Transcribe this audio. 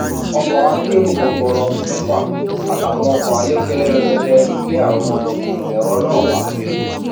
ọkọ akero gbọgbọrọ mẹfà àtàwọn ọkọ ayọkẹlẹ rẹpẹtẹ ló gbé àwọn ẹrọ náà wá